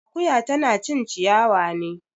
Akoya tana cin ciyawa ne